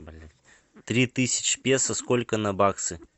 три тысячи песо сколько на баксы